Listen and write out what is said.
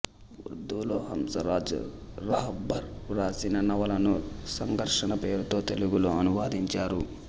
ఉర్దూ లో హంస రాజ్ రహబ్బర్ వ్రాసిన నవలను సంఘర్షణ పేరుతో తెలుగులో అనువదించారు